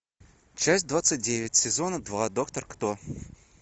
часть двадцать девять сезона два доктор кто